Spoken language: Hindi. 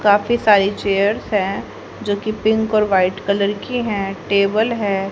काफी सारी चेयर्स हैं जो कि पिंक और वाइट कलर की हैं टेबल है।